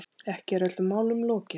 Ekki er öllum málum lokið.